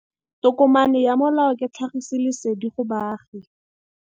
tokomane ya molao ke tlhagisi lesedi go baagi.